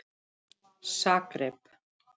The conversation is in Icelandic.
Zagreb